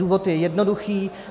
Důvod je jednoduchý.